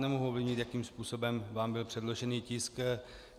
Nemohu ovlivnit, jakým způsobem vám byl předložen tisk.